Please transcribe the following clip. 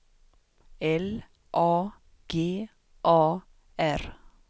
L A G A R